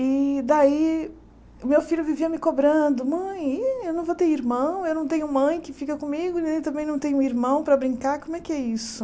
E daí, meu filho vivia me cobrando, mãe, e eu não vou ter irmão, eu não tenho mãe que fica comigo, nem também não tenho irmão para brincar, como é que é isso?